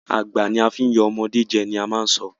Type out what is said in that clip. Àgbà la fí yan ọmọde jẹ! ni a ṣì má a sọ.